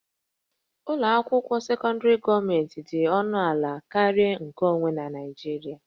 Ụlọ akwụkwọ sekọndrị gọọmentị dị ọnụ ala karịa nkeonwe na Naịjirịa